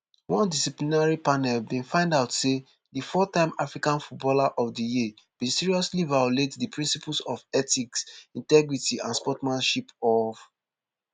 one disciplinary panel bin find out say di fourtime african footballer of di year bin seriously violate di principles of ethics integrity and sportsmanship of